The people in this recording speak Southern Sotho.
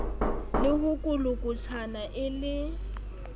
le ho kolokotjhana e le